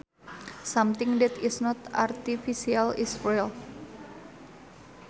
Something that is not artificial is real